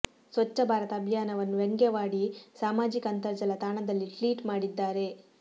ಸ್ವಚ್ಚ ಭಾರತ ಅಭಿಯಾನವನ್ನು ವ್ಯಂಗ್ಯವಾಡಿ ಸಾಮಾಜಿಕ ಅಂತರ್ಜಾಲ ತಾಣದಲ್ಲಿ ಟ್ಲೀಟ್ ಮಾಡಿದ್ದಾರೆ